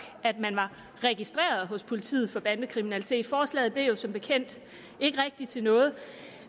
at man var registreret hos politiet for bandekriminalitet forslaget blev jo som bekendt ikke rigtig til noget